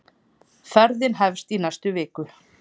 Ferðin hefst í næstu viku.